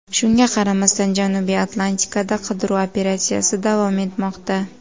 Shunga qaramasdan, Janubiy Atlantikada qidiruv operatsiyasi davom etmoqda.